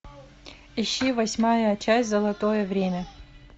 ищи восьмая часть золотое время